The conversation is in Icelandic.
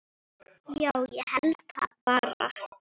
Já, ég held það bara.